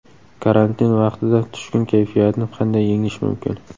Karantin vaqtida tushkun kayfiyatni qanday yengish mumkin?